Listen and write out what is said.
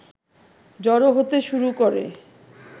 জড়ো হতে শুরু করে